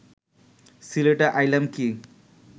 সিলেটে আইলাম কি